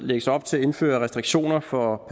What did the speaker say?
lægges op til at indføre restriktioner for